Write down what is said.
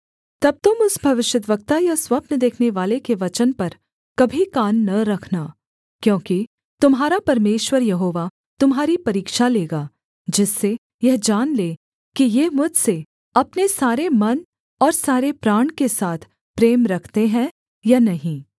तब तुम उस भविष्यद्वक्ता या स्वप्न देखनेवाले के वचन पर कभी कान न रखना क्योंकि तुम्हारा परमेश्वर यहोवा तुम्हारी परीक्षा लेगा जिससे यह जान ले कि ये मुझसे अपने सारे मन और सारे प्राण के साथ प्रेम रखते हैं या नहीं